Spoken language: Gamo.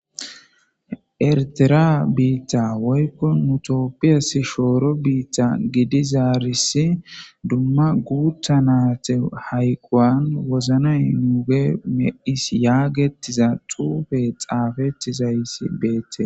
ertera biitta woykkon mutopiyas shooro biitta gidizaarisi dumma guutta naate hayquwan woznay nuuge me7is yaagettiza xuufe xaafettizaysi beette